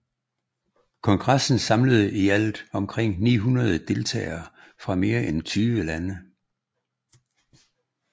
Kongressen samlede i alt omkring 900 delegerede fra mere end 20 lande